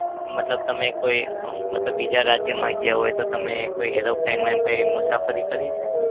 મતલબ તમે કોઈ અમ મતલબ બીજા રાજ્યમાં ગયા હોય તો તમે કોઈ aeroplane માં એમ કોઈ મુસાફરી કરી છે?